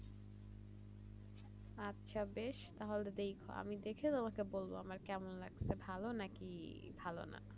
আচ্ছা বেশ তাহলে আমি দেখে তোমাকে বলবো আমার কেমন লাগছে ভালো নাকি ভালো না